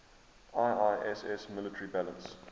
iiss military balance